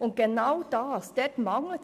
Doch genau hier besteht ein Mangel,